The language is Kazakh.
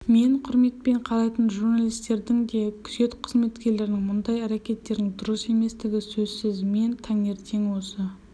мен құрметпен қарайтын журналистердің де күзет қызметкерлерінің мұндай әрекеттерінің дұрыс еместігі сөзсіз мен таңертең осы